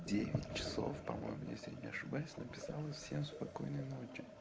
девятьсот по-моему если не ошибаюсь написала всем спокойной ночи